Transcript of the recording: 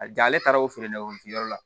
A ja ale taara o feere la wolofiyɔrɔ la